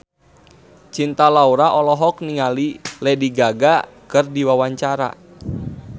Cinta Laura olohok ningali Lady Gaga keur diwawancara